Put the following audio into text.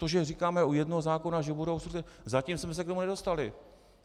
To, že říkáme u jednoho zákona, že budou obstrukce, zatím jsme se k tomu nedostali.